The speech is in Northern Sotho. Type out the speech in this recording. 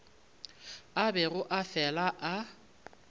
a bego a fela a